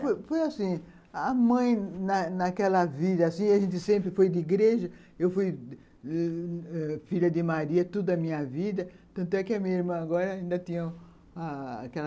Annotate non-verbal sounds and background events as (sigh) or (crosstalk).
Foi assim foi assim, a mãe, naquela vida, assim, a gente sempre foi de igreja, eu fui (unintelligible) filha de Maria toda a minha vida, tanto é que a minha irmã agora ainda tinha aquela